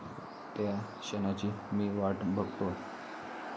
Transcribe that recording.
त्या क्षणाची मी वाट बघतोय.